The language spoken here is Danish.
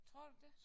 Tror du det?